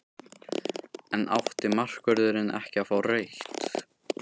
En átti markvörðurinn ekki að fá rautt?